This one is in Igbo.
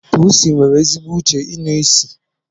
Pusi nwere ezigbo uche inụ isi.